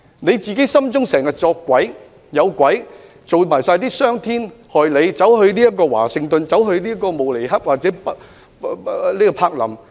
他們經常心中有鬼，是因為自己做了傷天害理的事，例如自行到訪華盛頓、慕尼黑或柏林......